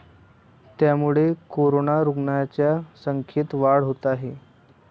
त्यामुळे कोरोना रुग्णांच्या संख्येत वाढ होत आहे.